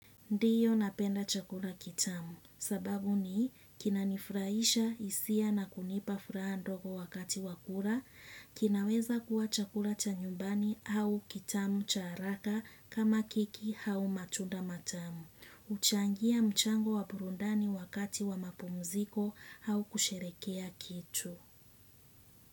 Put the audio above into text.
Ndiyo napenda chakula kitamu sababu ni kina nifurahisha hisia na kunipa furaha ndogo wakati wakura, kinaweza kuwa chakura cha nyumbani au kitamu cha haraka kama keki au matunda matamu. Huchangia mchango wapurundani wakati wa mapumziko au kusherekea kitu.